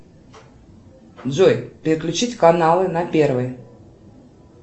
джой переключить каналы на первый